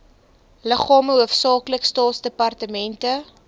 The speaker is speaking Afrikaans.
liggame hoofsaaklik staatsdepartemente